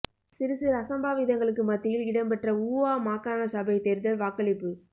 சிறு சிறு அசம்பாவிதங்களுக்கு மத்தியில் இடம்பெற்ற ஊவா மாகாண சபை தேர்தல் வாக்களிப்பு